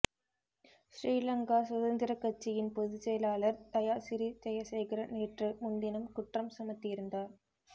ஸ்ரீலங்கா சுதந்திரக் கட்சியின் பொதுச்செயலாளர் தயாசிறி ஜெயசேகர நேற்று முன்தினம் குற்றம் சுமத்தியிருந்தார்